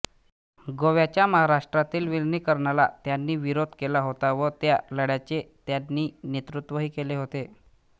गोव्याच्या महाराष्ट्रातील विलिनीकरणाला त्यांनी विरोध केला होता व त्या लढ्याचे त्यांनी नेतृत्वही केले होते